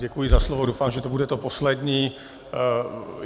Děkuji za slovo, doufám, že to bude to poslední.